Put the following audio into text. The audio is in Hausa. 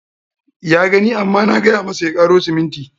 Ya gani amma na gay amasa ya karo siminti.